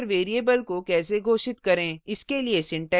अब हम देखेंगे कि structure variable को कैसे घोषित करें